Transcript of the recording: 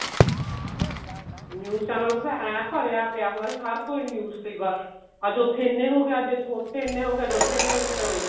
news channel ਤੇ ਤਾਂ ਐਂ ਭਰਿਆ ਪਿਆ ਹੁੰਦਾ ਸੀ ਹਰ ਕੋਈ news ਤੇ ਹੀ ਬੱਸ ਅੱਜ ਉੱਥੇ ਇੰਨੇ ਹੋ ਗਏ ਅੱਜ ਇੱਥੋ ਉੱਥੇ ਇੰਨੇ ਹੋ ਗਏ ਅੱਜ ਉੱਥੇ ਇੰਨੇ ਹੋ ਗਏ ਚਲੋ ਜੀ